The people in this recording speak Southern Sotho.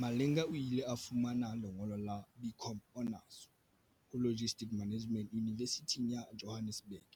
Malinga o ile a fumana lengolo la BCom Honours ho Logistics Management Yunivesithing ya Johannesburg